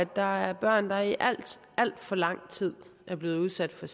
der er børn der i alt alt for lang tid er blevet udsat for